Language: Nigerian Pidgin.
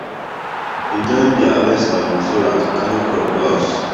dem join deir harvester with trailer to carry crop go house